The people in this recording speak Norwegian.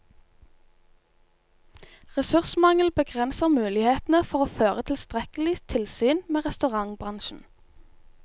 Ressursmangel begrenser mulighetene for å føre tilstrekkelig tilsyn med restaurantbransjen.